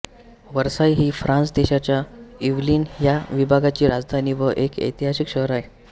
Versailles ही France देशाच्या Yvelines ह्या विभागाची राजधानी व एक ऐतिहासिक शहर आहे